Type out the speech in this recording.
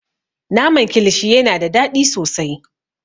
Naman kilishi yana da daɗi sosai.